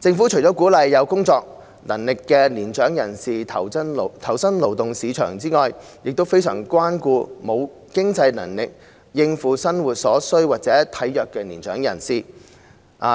政府除鼓勵有工作能力的年長人士投身勞動市場外，亦非常關顧沒有經濟能力應付生活所需或體弱的年長人士，